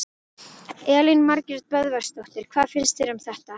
Elín Margrét Böðvarsdóttir: Hvað finnst þér um þetta allt?